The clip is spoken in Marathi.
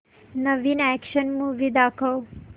नवीन अॅक्शन मूवी दाखव